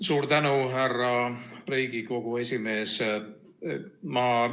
Suur tänu, härra Riigikogu esimees!